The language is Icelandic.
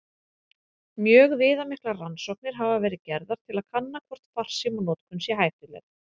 Mjög viðamiklar rannsóknir hafa verið gerðar til að kanna hvort farsímanotkun sé hættuleg.